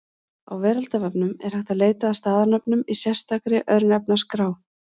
Á Veraldarvefnum er hægt að leita að staðarnöfnum í sérstakri Örnefnaskrá.